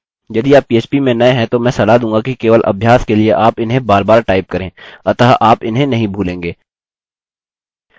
यदि आप php में नये हैं तो मैं सलाह दूँगा कि केवल अभ्यास के लिए आप इन्हें बारबार टाइप करें अतः आप इन्हें नहीं भूलेंगे